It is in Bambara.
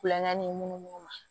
Kulonkɛ ni mun ma